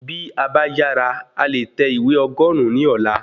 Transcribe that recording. Bí a ba yàrá, a leè tẹ ìwé ogurun ní ọ̀la